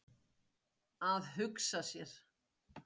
Að hugsa sér.